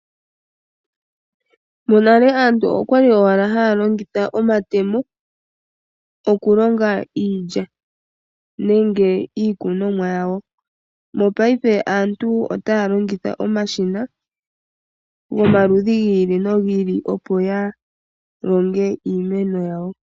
Monale aantu okwa li owala ha ya longitha omatemo oku longa iilya nenge iikunomwa yawo. Mongashingeyi aantu ota ya longitha omashina gomaludhi gi ili no gi ili opo ya longe iimeno yawo.